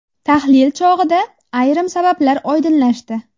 Tahlil chog‘ida ayrim sabablar oydinlashdi.